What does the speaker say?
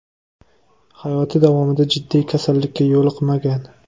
Hayoti davomida jiddiy kasallikka yo‘liqmagan.